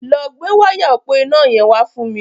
Lọ gbé wáyà òpó iná yẹn wá fún mi.